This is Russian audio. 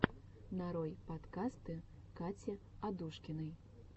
нарой подкасты кати адушкиной